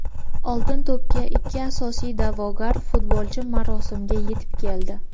"Oltin to‘p"ga ikki asosiy da’vogar futbolchi marosimga yetib keldi.